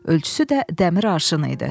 Ölçüsü də dəmir arşını idi.